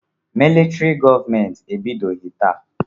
Militrị gọọmenti ebidoghị taa.